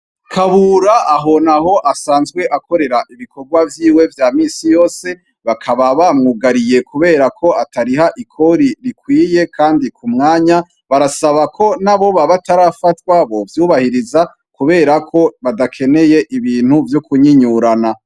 Kabura aho na ho asanzwe akorera ibikorwa vyiwe vya misi yose bakaba bamwugariye, kubera ko atariha ikori rikwiye, kandi ku mwanya barasaba ko naboba batarafatwa bo vyubahiriza, kubera ko badakeneye ibintu vy'ukunyinyurana.